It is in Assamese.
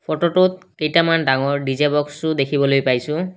ফটোটোত কিটামান ডাঙৰ ডি_জে বক্সও দেখিবলে পাইছোঁ।